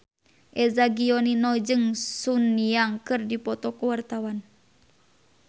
Eza Gionino jeung Sun Yang keur dipoto ku wartawan